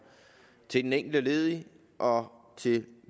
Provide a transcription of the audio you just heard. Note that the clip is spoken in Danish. til den enkelte lediges og til